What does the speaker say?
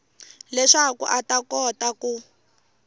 leswaku a ta kota ku